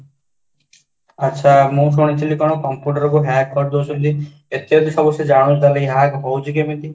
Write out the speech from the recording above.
ଆଚ୍ଛା, ମୁଁ ଶୁଣିଥିଲି କ'ଣ computer hack କରିଦେଉଛନ୍ତି ଏତେ ଯଦି ସେ hack ହଉଛି କେମିତି?